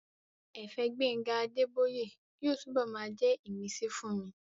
Ẹ̀fẹ̀ Gbénga Adébóyè yóò túnbọ̀ máa jẹ́ ìmísí fún mi